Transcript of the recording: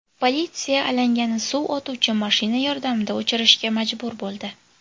Politsiya alangani suv otuvchi mashina yordamida o‘chirishga majbur bo‘ldi.